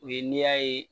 U ye n'i y'a ye